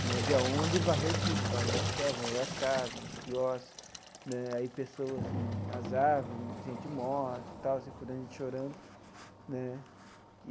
Né veio onda e varreu tudo, varreu o hotel, varreu as casas, os quiosques né aí pessoas, nas árvores, gente morta tal, gente por aí chorando né.